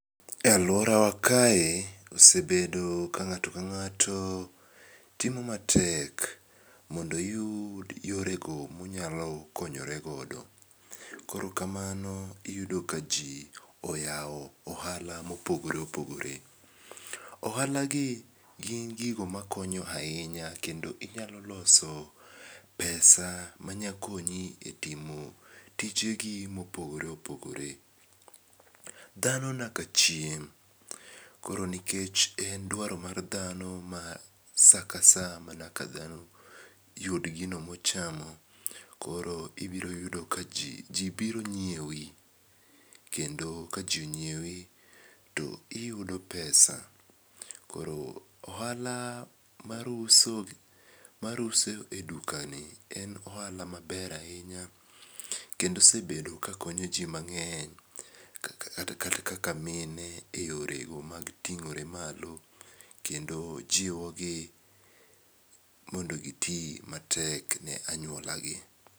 E aluorawa kae osebedo ka ng'ato ka ng'ato temo matek mondo oyud yorego monyalo konyore godo. Koro kamano iyudo kaji oyawo ohala mopogore opogore. Ohalagi gin gigo makonyo ahinya kendo inyalo loso pesa manyakonyi etimo tijegi mopogore opogore. Dhano naka chiem koro nikech en dwaro mar dhano ma saa ka saa manakadhano yud gino mochamo koro ibiro yudo kaji ji biro nyiewi kendo ka ji onyiewi to iyudo pesa koro ohala mar uso mar uso edukani en ohala maber ahinya kendo osebedo kakonyo ji mang'eny kaka kata kaka mine eyorego mag ting'ore malo kendo jiwogi mondo gi matek ne anyuolagi.